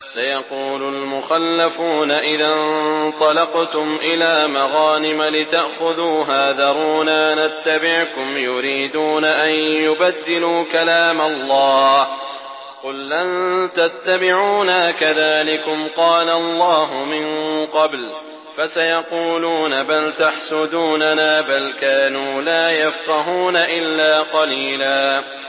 سَيَقُولُ الْمُخَلَّفُونَ إِذَا انطَلَقْتُمْ إِلَىٰ مَغَانِمَ لِتَأْخُذُوهَا ذَرُونَا نَتَّبِعْكُمْ ۖ يُرِيدُونَ أَن يُبَدِّلُوا كَلَامَ اللَّهِ ۚ قُل لَّن تَتَّبِعُونَا كَذَٰلِكُمْ قَالَ اللَّهُ مِن قَبْلُ ۖ فَسَيَقُولُونَ بَلْ تَحْسُدُونَنَا ۚ بَلْ كَانُوا لَا يَفْقَهُونَ إِلَّا قَلِيلًا